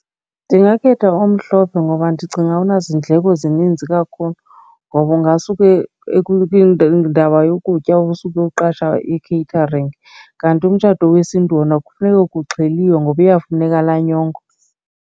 Ndingakhetha omhlophe ngoba ndicinga awunazindleko zininzi kakhulu ngoba ungasuke indaba yokutya osuke uqasha i-catering. Kanti umtshato wesiNtu yona kufuneka kuxheliwe ngoba iyafuneka laa nyongo.